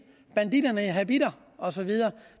banditterne i habitter og så videre